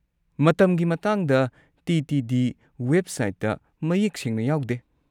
ꯃꯇꯝꯒꯤ ꯃꯇꯥꯡꯗ ꯇꯤ.ꯇꯤ.ꯗꯤ. ꯋꯦꯕꯁꯥꯏꯠꯇ ꯃꯌꯦꯛ ꯁꯦꯡꯅ ꯌꯥꯎꯗꯦ꯫